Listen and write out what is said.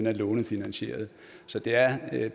er lånefinansieret så det er at